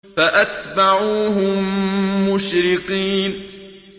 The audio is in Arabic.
فَأَتْبَعُوهُم مُّشْرِقِينَ